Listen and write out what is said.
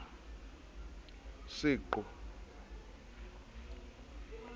seqo o se ke wa